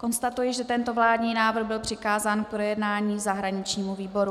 Konstatuji, že tento vládní návrh byl přikázán k projednání zahraničnímu výboru.